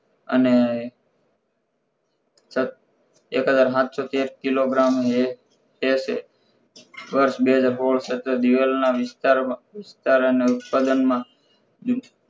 અને એકહજાર સાતસો થી એક કિલોગ્રામ એ કેસે વરસ બે હજાર સોડ દિવેલ ના ઉત્પાદન માં